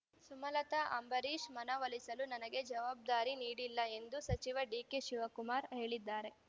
ಸುಮಲತಾ ಅಂಬರೀಷ್ ಮನವೊಲಿಸಲು ನನಗೆ ಜವಾಬ್ದಾರಿ ನೀಡಿಲ್ಲ ಎಂದು ಸಚಿವ ಡಿಕೆ ಶಿವಕುಮಾರ ಹೇಳಿದ್ದಾರೆ